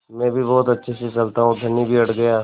मैं भी बहुत अच्छे से चलता हूँ धनी भी अड़ गया